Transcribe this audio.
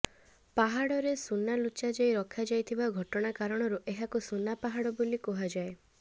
ପାହାଡରେ ସୁନା ଲୁଚାଯାଇ ରଖାଯାଇଥିବା ଘଟଣା କାରଣରୁ ଏହାକୁ ସୁନା ପାହାଡ ବୋଲି କୁହାଯାଏ